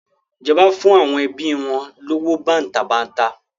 Ìjọba fún àwọn ẹbi wọn lówó bàǹtàbanta.